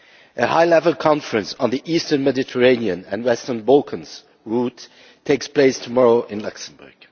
A high level conference on the Eastern Mediterranean and Western Balkans route takes place tomorrow in Luxembourg.